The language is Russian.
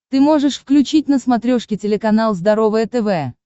ты можешь включить на смотрешке телеканал здоровое тв